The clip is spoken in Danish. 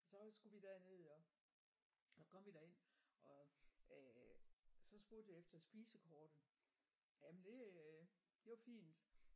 Så skulle vi derned og så kom vi derind og så spurgte jeg efter spisekortet jamen det øh det var fint